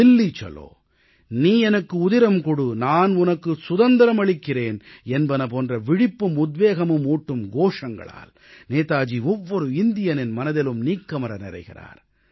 தில்லி சலோ நீ எனக்கு உதிரம் கொடு நான் உனக்கு சுதந்திரம் அளிக்கிறேன் என்பன போன்ற விழிப்பும் உத்வேகமும் ஊட்டும் கோஷங்களால் நேதாஜி ஒவ்வொரு இந்தியரின் மனதிலும் நீக்கமற நிறைகிறார்